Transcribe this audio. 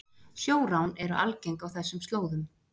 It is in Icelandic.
Sjórán eru algeng á þessum slóðum